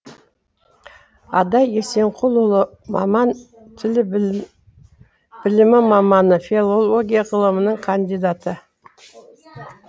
адай есенқұлұлы маман тіл білімі маманы филология ғылымының кандидаты